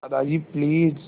Dadaji please